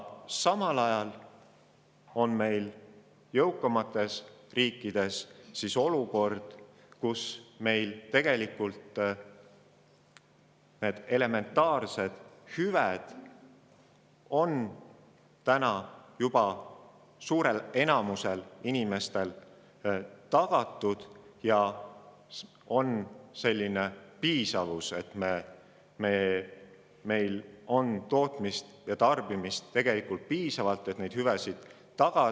Samal ajal on jõukamates riikides olukord, kus need elementaarsed hüved on täna juba suurel enamusel inimestest tagatud ja on piisavus: tootmist ja tarbimist on piisavalt, et neid hüvesid tagada.